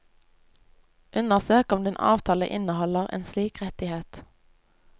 Undersøk om din avtale inneholder en slik rettighet.